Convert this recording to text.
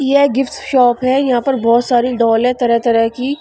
यह gift shop है यहां पर बहुत सारी डॉल है तरह-तरह की--